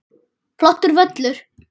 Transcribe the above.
Flottur völlur.